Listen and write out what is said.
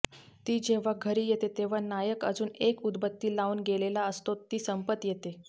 ती जेव्हा घरी येते तेव्हा नायक अजून एक उदबत्ती लाऊन गेलेला असतो ती संपत येते